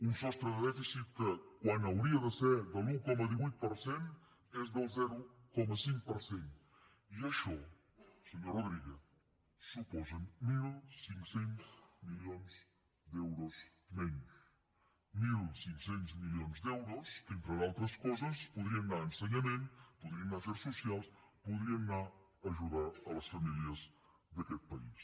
un sostre de dèficit que quan hauria de ser de l’un coma divuit per cent és del zero coma cinc per cent i això senyor rodríguez suposa mil cinc cents milions d’euros menys mil cinc cents milions d’euros que entre d’altres coses podrien anar a ensenyament podrien anar a afers socials podrien anar a ajudar les famílies d’aquest país